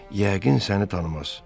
Yəqin səni tanımaz.